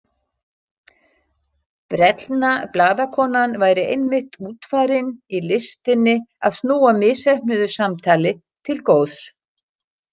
Brellna blaðakonan væri einmitt útfarin í listinni að snúa misheppnuðu samtali til góðs.